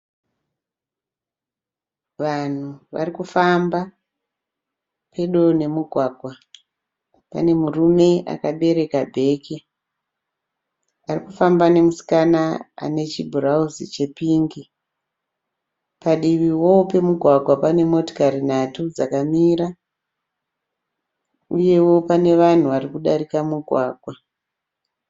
Vanhu varikufamba pedo nemugwagwa pane murume akabereka bhegi arikufamba nemusikana ane chibhurauzi chepingi. Padivivo pemugwagwa pane motikari nhatu dzakamira uyewo pane vanhu vari kudarika mugwangwa.